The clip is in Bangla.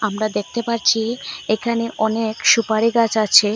আমরা দেখতে পারছি এখানে অনেক সুপারিগাছ আছে।